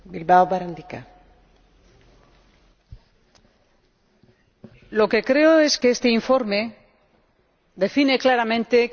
Lo que creo es que este informe define claramente qué es lo que se pide a la Comisión y qué es lo que se pide a cada uno de los Estados miembros.